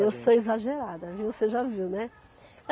Eu sou exagerada, viu, você já viu, né?